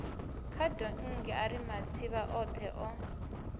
khadonngi ari matsivha othe o